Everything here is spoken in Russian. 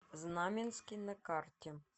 знаменский на карте